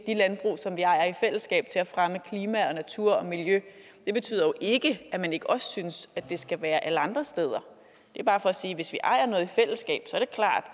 de landbrug som vi ejer i fællesskab til at fremme klima og natur og miljø betyder jo ikke at man ikke også synes at det skal være sådan alle andre steder det er bare for at sige at hvis vi ejer noget i fællesskab